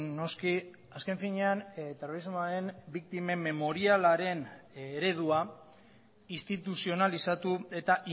noski azken finean terrorismoaren biktimen memorialaren eredua instituzionalizatu eta